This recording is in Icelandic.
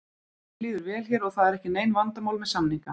Mér líður vel hér og það eru ekki nein vandamál með samninga.